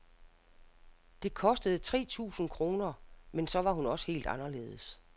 Det kostede tre tusind kroner, men så var hun også helt anderledes.